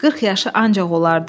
40 yaşı ancaq olardı.